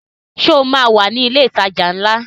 Ṣé o máa wà ní ilé ìtajà ńlá?